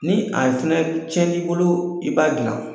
Ni a fɛnɛ tiɲɛn'i bolo i b'a dilan.